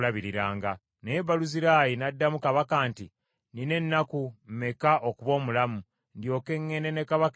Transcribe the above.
Naye Baluzirayi n’addamu kabaka nti, “Nnina ennaku meka okuba omulamu, ndyoke ŋŋende ne kabaka e Yerusaalemi?